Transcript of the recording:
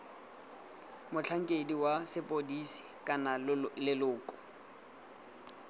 motlhankedi wa sepodisi kana leloko